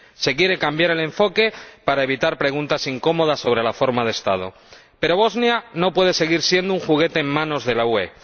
Se quiere cambiar el enfoque para evitar preguntas incómodas sobre la forma de Estado. Pero Bosnia no puede seguir siendo un juguete en manos de la UE.